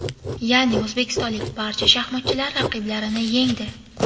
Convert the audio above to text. Ya’ni o‘zbekistonlik barcha shaxmatchilar raqiblarini yengdi.